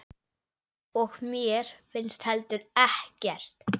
Og mér finnst heldur ekkert.